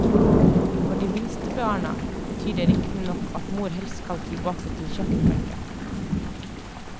For de minste barna betyr det riktignok at mor helst skal tilbake til kjøkkenbenken.